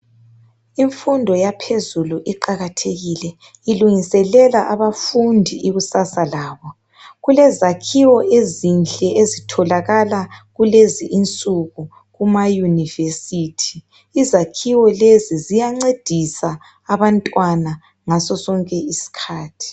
Imfundo yaphezulu iqakathekile ilungiselela abafundi ikusasa labo. Kulezakhiwo ezinhle ezitholakala kulezi insuku kumayunivesithi. Izakhiwo lezi ziyancedisa abantwana ngasosonke isikhathi.